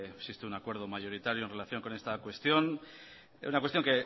existe un acuerdo mayoritario en relación con esta cuestión es una cuestión